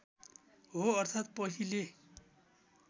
हो अर्थात् पहिले